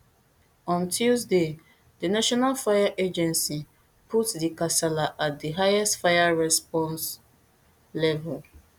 on tuesday di national fire agency put di kasala at di highest fire response level